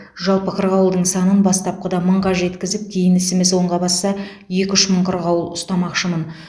жалпы қырғауылдың санын бастапқыда мыңға жеткізіп кейін ісіміз оңға басса екі үш мың қырғауыл ұстамақшымын